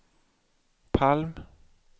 Palm